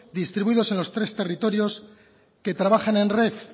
distribuidos en los tres territorios que trabajan en red